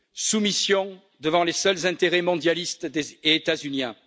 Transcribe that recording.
soumission devant les seuls intérêts mondialistes et états uniens.